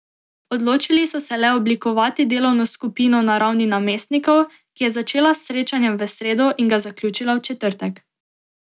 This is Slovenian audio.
Odločili so se le oblikovati delovno skupino na ravni namestnikov, ki je začela s srečanjem v sredo in ga zaključila v četrtek.